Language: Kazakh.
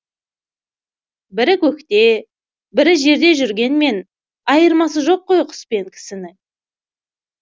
бірі көкте бірі жерде жүргенмен айырмасы жоқ қой құс пен кісінің